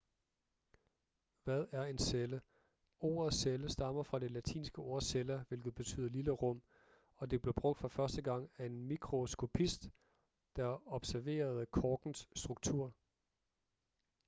hvad er en celle ordet celle stammer fra det latinske ord cella hvilket betyder lille rum og det blev brugt for første gang af en mikroskopist der observerede korkens struktur